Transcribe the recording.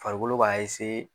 Farikolo b'a